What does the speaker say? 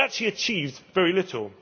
It actually achieves very little.